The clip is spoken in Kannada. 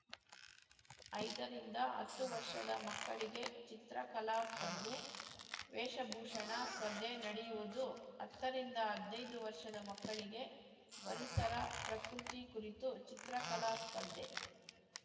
ಐದರಿಂದ ಹತ್ತು ವರ್ಷದ ಮಕ್ಕಳಿಗೆ ಚಿತ್ರಕಲಾ ಸ್ಪರ್ಧೆ ವೇಷಭೂಷಣ ಸ್ಪರ್ಧೆ ನಡೆಯುವುದು ಹತ್ತರಿಂದ ಹದ್ನೈದು ವರ್ಷದ ಮಕ್ಕಳಿಗೆ ಪರಿಸರ ಪ್ರಕೃತಿ ಕುರಿತು ಚಿತ್ರಕಲಾ ಸ್ಪರ್ಧೆ